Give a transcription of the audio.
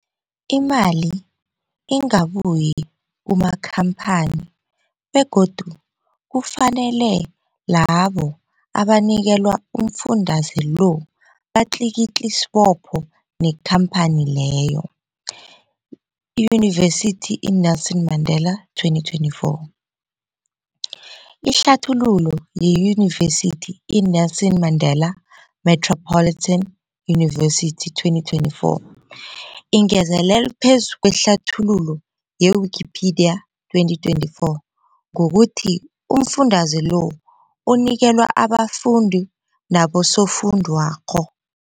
Imali ingabuyi kumakhamphani begodu kufanele labo abanikelwa umfundaze lo batlikitliki isibopho neenkhamphani leyo, Yunivesity i-Nelson Mandela 2024. Ihlathululo yeYunivesithi i-Nelson Mandela Metropolitan University, 2024, ingezelele phezu kwehlathululo ye-Wikipedia, 2024, ngokuthi umfundaze lo unikelwa abafundi nabosofundwakgho.